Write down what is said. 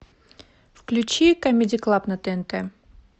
включи камеди клаб на тнт